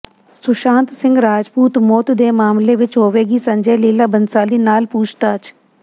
ਸੁਸ਼ਾਂਤ ਸਿੰਘ ਰਾਜਪੂਤ ਮੌਤ ਦੇ ਮਾਮਲੇ ਵਿੱਚ ਹੋਵੇਗੀ ਸੰਜੈ ਲੀਲਾ ਭੰਸਾਲੀ ਨਾਲ ਪੁਛਤਾਛ